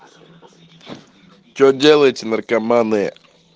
что делаете наркоманы